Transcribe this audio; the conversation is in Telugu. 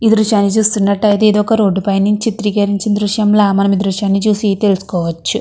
ఈ దృశ్యాన్ని చూస్తున్నట్టయితే ఇది ఒక రోడ్డు పై నుంచి చిత్రీకరించిన దృశ్యంల మనం ఈ దృశ్యాన్ని చూసి తెలుసుకోవచ్చు.